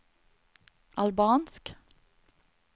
albansk